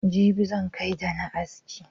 Jibi zan kai da'na aski.